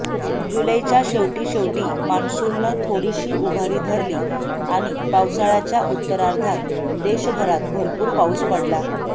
जुलैच्या शेवटीशेवटी मॉन्सूननं थोडीशी उभारी धरली आणि पावसाळ्याच्या उत्तरार्धात देशभरात भरपूर पाऊस पडला